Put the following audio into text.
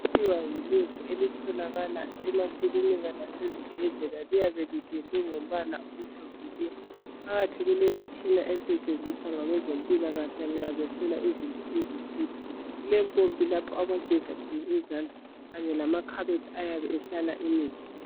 Kuthiwa yi lab elitholakala emakilinika lasezibhedlela. Liyabe lipendwe ngombala omhlophe nke. Phakathi kulemitshina esetshensizwa ngabezempilakahle nxa behlola izinto ezithile. Kulempompi lapho abageza khona izandla, kanye lamakhabethe ayabe ehlala imithi.